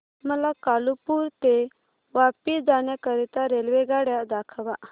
मला कालुपुर ते वापी जाण्या करीता रेल्वेगाड्या दाखवा